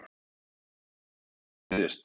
Hefur unga fólkið áhuga á Viðreisn?